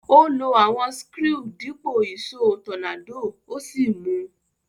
Ó lo àwon screw dípò ìsó tornado ó sì mu